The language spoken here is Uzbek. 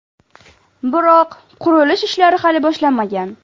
Biroq qurilish ishlari hali boshlanmagan.